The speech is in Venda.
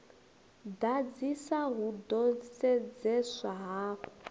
ḓadzisa hu ḓo sedzeswa hafhu